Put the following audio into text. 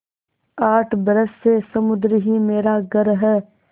आठ बरस से समुद्र ही मेरा घर है